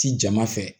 Ci jama fɛ